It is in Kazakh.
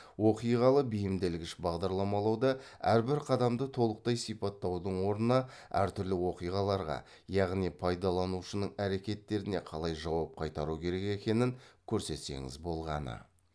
оқиғалы бейімделгіш бағдарламалауда әрбір қадамды толықтай сипаттаудың орнына әр түрлі оқиғаларға яғни пайдаланушының әрекеттеріне қалай жауап қайтару керек екенін көрсетсеңіз болғаны